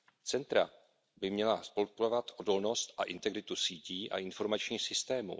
Centra by měla podporovat odolnost a integritu sítí a informačních systémů.